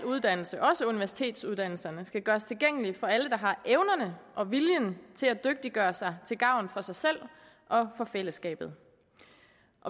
uddannelse også universitetsuddannelserne skal gøres tilgængelig for alle der har evnerne og viljen til at dygtiggøre sig til gavn for sig selv og for fællesskabet